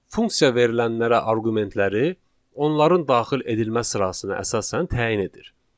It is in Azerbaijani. Funksiya verilənlərə arqumentləri, onların daxil edilmə sırasına əsasən təyin edir.